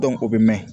o bɛ mɛn